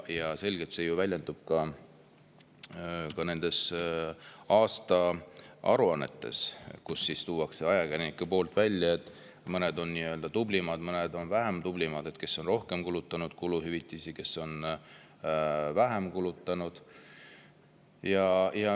Ja see väljendub selgelt ka nendes aasta, kus ajakirjanikud toovad välja, et mõned on nii-öelda tublimad, mõned vähem tublid, kes on kuluhüvitisi rohkem kulutanud, kes on vähem kulutanud.